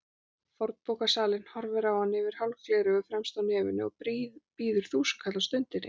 Fornbókasalinn horfir á hann yfir hálf gleraugu fremst á nefinu og býður þúsundkall á stundinni.